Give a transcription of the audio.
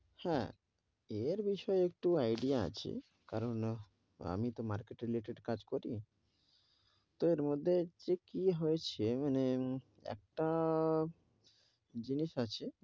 হেঁ, এর বিষয়ে একটু idea আছে, আমি তো market related কাজ করি, তো এর মধ্যে যে কি হয়েছে, মানে একটা জিনিস আছে,